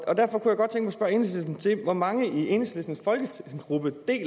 hvor mange i enhedslistens folketingsgruppe der